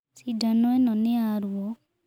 Cindano ino nĩ ya ruo.